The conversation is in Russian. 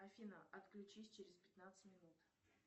афина отключись через пятнадцать минут